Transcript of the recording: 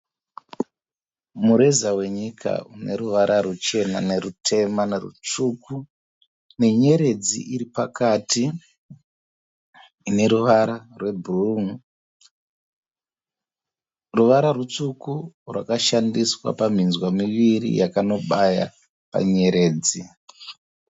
Mureza wenyika une ruvara ruchena nerutema nerutsvuku, nenyeredzi iri pakati ine ruvara rwebhuruu. Ruvara rutsvuku rwakashandiswa pamhinzwa miviri yakanobaya panyeredzi.